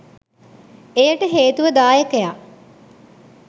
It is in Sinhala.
එයට හේතුව දායකයා